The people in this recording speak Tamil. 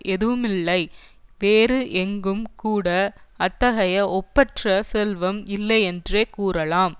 எதுவுமில்லை வேறு எங்கும் கூட அத்தகைய ஒப்பற்ற செல்வம் இல்லையென்றே கூறலாம்